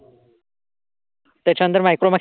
त्याच्यानंतर मायक्रोमॅक्स.